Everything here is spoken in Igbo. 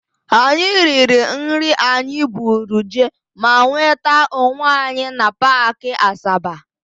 Anyị riri nri anyị buru jee ma nweta onwe anyị na Paakị Asaba.